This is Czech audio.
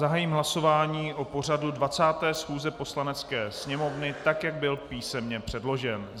Zahájím hlasování o pořadu 20. schůze Poslanecké sněmovny, tak jak byl písemně předložen.